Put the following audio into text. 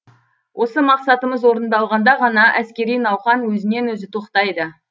осы мақсатымыз орындалғанда ғана әскери науқан өзінен өзі тоқтайды